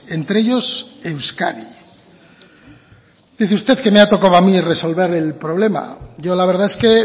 entre ellos euskadi dice usted que me ha tocado a mí resolver el problema yo la verdad es que